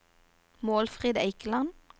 Målfrid Eikeland